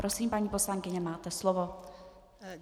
Prosím, paní poslankyně, máte slovo.